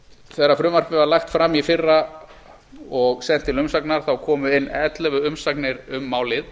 þegar frumvarpið var lagt fram í fyrra og sent til umsagna komu inn ellefu umsagnir um málið